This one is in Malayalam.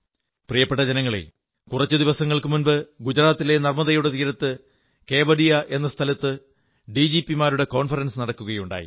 പ്രിയപ്പെട്ട ജനങ്ങളേ കുറച്ചു ദിവസങ്ങൾക്കുമുമ്പ് ഗുജറാത്തിലെ നർമ്മദയുടെ തീരത്ത് കേവഡിയ എന്ന സ്ഥലത്ത് ഡി ജി പി മാരുടെ കോൺഫറൻസ് നടക്കുകയുണ്ടായി